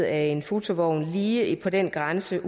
af en fotovogn en lige på den grænse